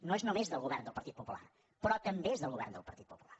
no és només del govern del partit popular però també és del govern del partit popular